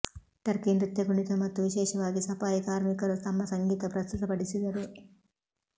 Turkey ನೃತ್ಯ ಕುಣಿತ ಮತ್ತು ವಿಶೇಷವಾಗಿ ಸಫಾಯಿ ಕಾರ್ಮಿಕರು ತಮ್ಮ ಸಂಗೀತ ಪ್ರಸ್ತುತಪಡಿಸಿದರು